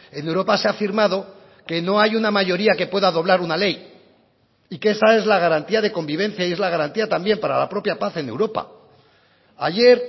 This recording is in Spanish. en europa se ha firmado que no hay una mayoría que pueda doblar una ley y que esa es la garantía de convivencia y es la garantía también para la propia paz en europa ayer